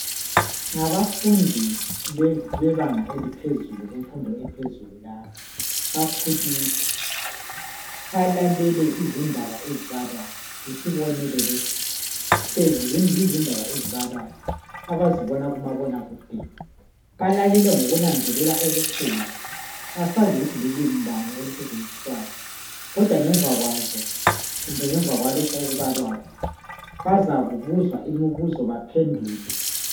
Ngabafundi bebanga eliphezulu kumfundo ephezulu laba bakhulile balalele izindaba ezibalwayo yisibonelo lesi hlezi yizindaba ezibalwayo abazibona kumabonakude balalele ngokunanzelela okukhulu asazi ukuthi lulimi bani olusetshenziswayo kodwa ngemva kwazo kumbe ngemva kwalokho okubalwayo bazakubuzwa imibuzo baphendule .